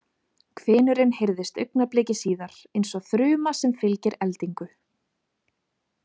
Hvinurinn heyrðist augnabliki síðar, eins og þruma sem fylgir eldingu.